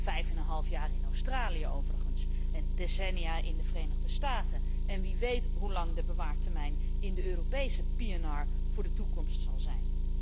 Vijfeneenhalf jaar in Australië overigens en decennia in de Verenigde Staten, en wie weet hoe lang de bewaartermijn in de Europese PNR voor de toekomst zal zijn.